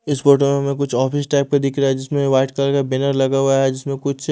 इस फोटो में हमें कुछ ऑफिस टाइप का दिख रहा है जिसमें व्हाइट कलर का बैनर लगा हुआ है जिसमें कुछ--